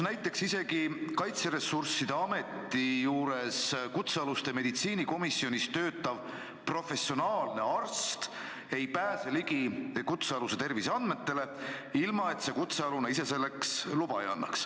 Isegi Kaitseressursside Ameti juures kutsealuste meditsiinikomisjonis töötav professionaalne arst ei pääse ligi kutsealuse terviseandmetele, kui kutsealune ise selleks luba ei anna.